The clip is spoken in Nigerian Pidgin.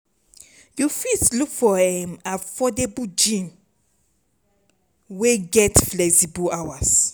you fit look for um affordable gym wey get flexible hours